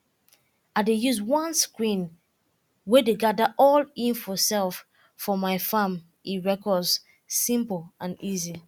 i dey use one screen way dey gather all info um for my farm um records simple and easy